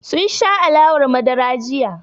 Sun sha alawar madara jiya.